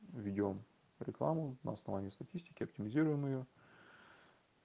ведём рекламу на основании статистики оптимизируем её